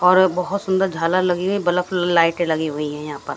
और बहुत सुंदर झालर लगी हुई है बल्फ लाइटें लगी हुई हैं यहां पर।